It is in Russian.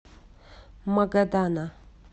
магадана